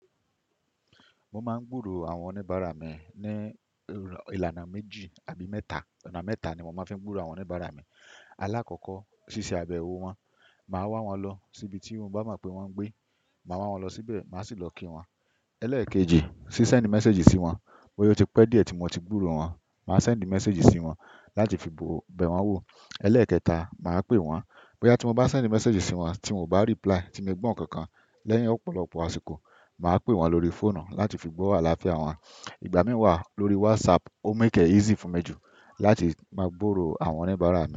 Mo máa ń gbúrò àwọn oníbàárà mi ní ìlànà méjì àbí mẹ́ta. Onà mẹ́ta ni mo máa ń fi ń gbúrò àwọn oníbàárà mi. Alákọ̀ọ́kọ́ ṣíṣe abẹ̀wò wọn. Màá wá wọn lọ síbi tí mo bá mọ pé wọ́n ń gbé. Màá wá wọn lọ síbẹ̀, màá sì lọ kí wọn. Elẹ́ẹ̀kejì ṣe send message sí wọn. Bóyá o ti pẹ́ díẹ̀ tí mo ti gbúrò wọ́n, màá send message sí wọn láti fi bo bẹ̀ wọn wò. Elẹ́ẹ̀kẹta, màá pè wọ́n. Bóyá tí mo bá send message sí wọn tí wọ́n ò bá reply, tí mio gbọ́ ǹkankan lẹ́yìn ọ̀pọ̀lọpọ̀ àsìkò, màá pè wọ́n lórí fóònù láti fi gbọ́ àlàáfíà wọn. Ìgbà mí wà lórí WhatsApp, o make e easy fún mi jù láti máa gburò àwọn oníbàárà mi.